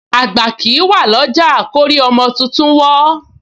Àgbà kìí wà ọlọ́jà lórí ọmọ tuntun wó